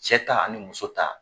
Cɛ ta ani muso ta.